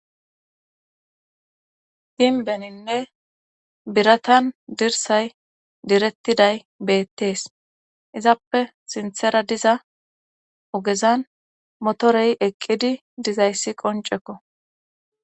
Ginbeninne biratan dirsay direttiday beettees izappe sinthera diza ogezan motorey eqqidi dizayssi qoncekko